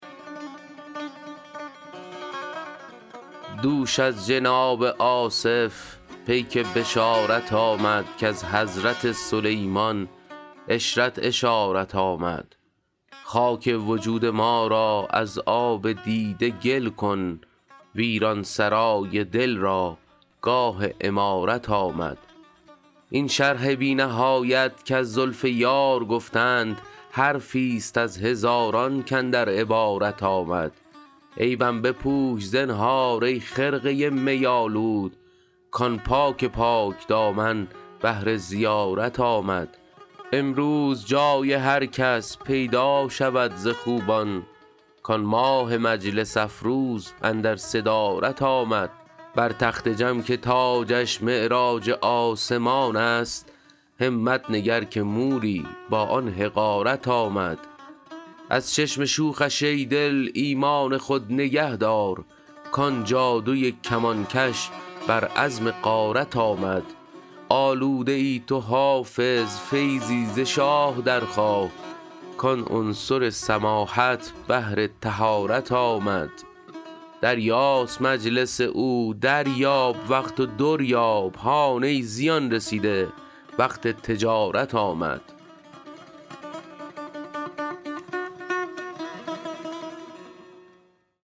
دوش از جناب آصف پیک بشارت آمد کز حضرت سلیمان عشرت اشارت آمد خاک وجود ما را از آب دیده گل کن ویران سرای دل را گاه عمارت آمد این شرح بی نهایت کز زلف یار گفتند حرفی ست از هزاران کاندر عبارت آمد عیبم بپوش زنهار ای خرقه می آلود کآن پاک پاک دامن بهر زیارت آمد امروز جای هر کس پیدا شود ز خوبان کآن ماه مجلس افروز اندر صدارت آمد بر تخت جم که تاجش معراج آسمان است همت نگر که موری با آن حقارت آمد از چشم شوخش ای دل ایمان خود نگه دار کآن جادوی کمانکش بر عزم غارت آمد آلوده ای تو حافظ فیضی ز شاه درخواه کآن عنصر سماحت بهر طهارت آمد دریاست مجلس او دریاب وقت و در یاب هان ای زیان رسیده وقت تجارت آمد